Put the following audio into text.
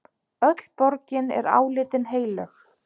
Öll borgin er álitin heilög.